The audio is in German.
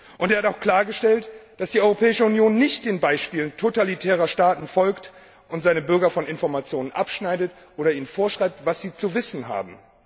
Und er hat auch klargestellt, dass die Europäische Union nicht dem Beispiel totalitärer Staaten folgt und ihre Bürger von Informationen abschneidet oder ihnen vorschreibt, was sie zu wissen haben.